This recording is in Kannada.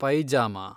ಪೈಜಾಮಾ